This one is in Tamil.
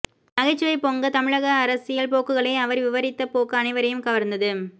நகைச்சுவை பொங்க தமிழக அரசியல் போக்குகளை அவர் விவரித்த போக்கு அனைவரையும் கவர்ந்தது